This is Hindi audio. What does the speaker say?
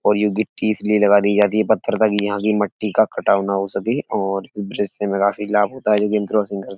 और ये गिट्टी इस लिए लगाई दी जाती है। पत्थर ताकि यहाँ की मट्टी का कटाव ना हो सके और काफी लाभ है जो कि --